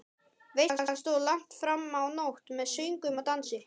Veislan stóð langt fram á nótt með söngvum og dansi.